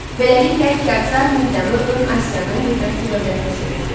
Beləliklə Kiaksar Midiyaını ön Asiyanın qüdrətli dövlətinə çevirdi.